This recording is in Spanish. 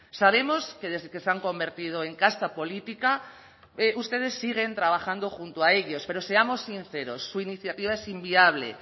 sabemos que desde que se han convertido en casta política ustedes siguen trabajando junto a ellos pero seamos sinceros su iniciativa es inviable